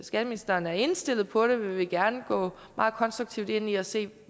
skatteministeren er indstillet på det vil vi gerne gå meget konstruktivt ind i at se på